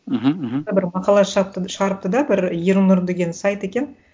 мхм мхм бір мақала шығарыпты да бір ернұр деген сайт екен